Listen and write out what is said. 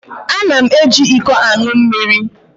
Ana m eji iko aṅụ mmiri.